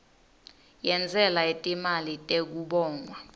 yentsela yetimali tekubongwa